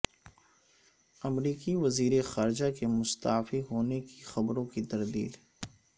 امریکی وزیر خارجہ کے مستعفی ہونے کی خبروں کی تردید